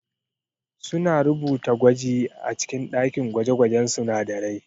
Suna rubuta gwaji a cikin ɗakin gwaje-gwajen sunadarai.